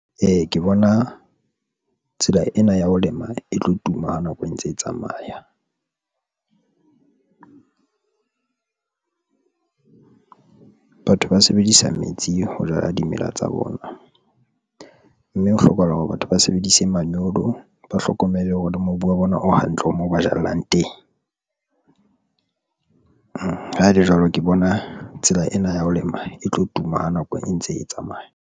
Ee, ke bona tsela ena ya ho lema e tlo tuma ha nako e ntse e tsamaya. Batho ba sebedisa metsi ho jala dimela tsa bona, mme ho hlokahala hore batho ba sebedise manyolo, ba hlokomele hore mobu wa bona o hantle, o mo ba jallang teng. Ha e le jwalo, ke bona tsela ena ya ho lema e tlo tuma ha nako e ntse e tsamaya.